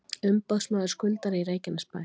Umboðsmaður skuldara í Reykjanesbæ